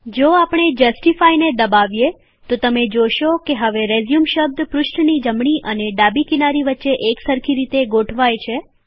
જો આપણે જસ્ટિફાઇને દબાવીએતો તમે જોશો કે હવે રેઝયુમ શબ્દ પૃષ્ઠની જમણી અને ડાબી કિનારી વચ્ચે એક સરખી રીતે ગોઠવાય છે